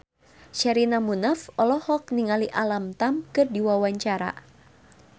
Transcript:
Sherina Munaf olohok ningali Alam Tam keur diwawancara